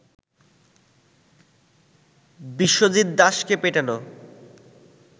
বিশ্বজিৎ দাসকে পেটানো